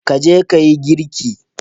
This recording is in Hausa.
Ka je ka yi girki